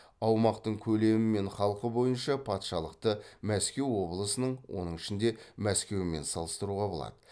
аумақтың көлемі мен халқы бойынша патшалықты мәскеу облысының оның ішінде мәскеумен салыстыруға болады